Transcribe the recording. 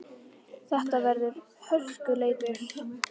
Þetta verður hörkuleikur!